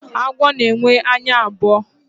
agwọ na enwe anya abụo